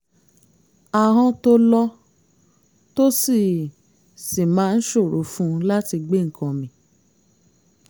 ahọ́n tó lọ́ tó sì sì máa ń ṣòro fún un láti gbé nǹkan mì